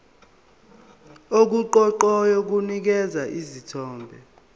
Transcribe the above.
okuqoqayo kunikeza isithombe